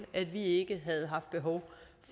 at vi ikke havde haft behov